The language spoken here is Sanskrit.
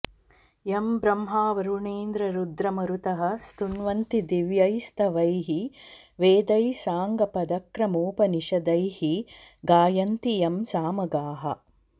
यं ब्रह्मावरुणेन्द्ररुद्रमरुतः स्तुवन्ति दिव्यैः स्तवैः वेदैः साङ्गपदक्रमोपनिषदैः गायन्ति यं सामगाः